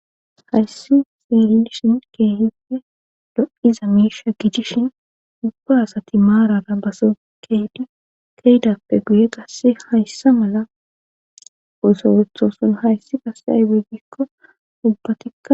hayssi xeelishin keehipfe do7iza miisha gijishin ubba asati maarara baso keedi keedappe guye qasse hayssa mala oso wethoson hayssi qasse aybe ggikko ubbatikka